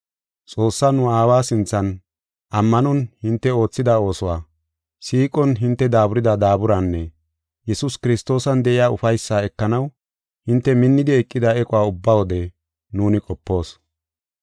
Xoossaa nu Aawa sinthan ammanon hinte oothida oosuwa, siiqon hinte daaburida daaburanne Yesuus Kiristoosan de7iya ufaysaa ekanaw hinte minnidi eqida equwa ubba wode nuuni qopoos.